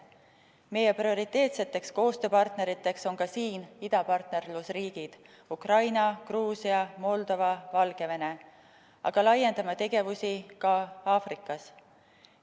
Meie prioriteetseteks koostööpartneriteks on ka siin idapartnerlusriigid – Ukraina, Gruusia, Moldova ja Valgevene –, aga laiendame tegevusi ka Aafrikas.